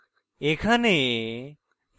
এখানে